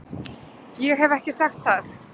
Ég hef ekki sagt það!